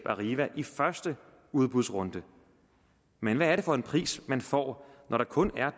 arriva i første udbudsrunde men hvad er det for en pris man får når der kun er